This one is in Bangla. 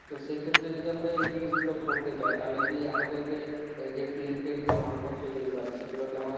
তো সেই ক্ষেত্রে যদি আমরা এই জিনিসগুলো করতে যাই তাহলে কি আমাদেরকে এইযে tent এর যে মালপত্র যে গুলো আছে সেগুলো কি আমাদের